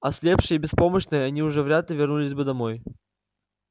ослепшие и беспомощные они уже вряд ли вернулись бы домой